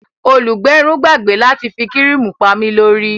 Olùgbẹrun gbàgbé láti fi kíríìmù pami lórí